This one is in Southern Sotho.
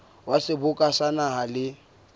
wa seboka sa naha le